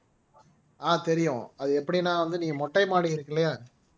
ஆஹ் தெரியும் அது எப்படின்னா வந்து நீங்க மொட்டை மாடி இருக்கு இல்லையா